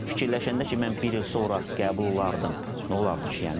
Fikirləşəndə ki, mən bir il sonra qəbul olardım, nə olardı ki, yəni.